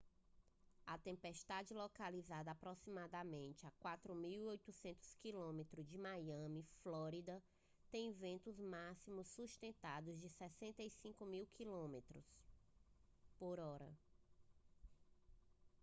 a tempestade localizada a aproximadamente 4.800 km de miami flórida tem ventos máximos sustentados de 65 km/h